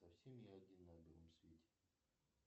совсем я один на белом свете